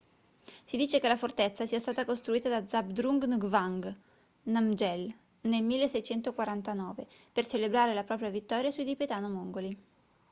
si dice che la fortezza sia stata costruita da zhabdrung ngawang namgyel nel 1649 per celebrare la propria vittoria sui tibetano-mongoli